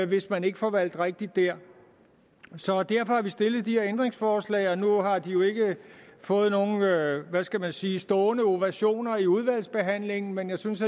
hvis man ikke får valgt rigtigt der derfor har vi stillet de her ændringsforslag og nu har de jo ikke fået nogen hvad hvad skal man sige stående ovationer i udvalgsbehandlingen men jeg synes